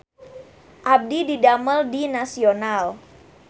Abdi didamel di Nasional